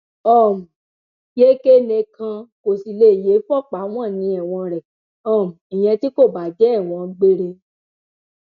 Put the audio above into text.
um yékénni kan kò sì lè yé e fọpá wọn ní ẹwọn rẹ um ìyẹn tí kò bá jẹ ẹwọn gbére